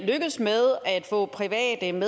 anden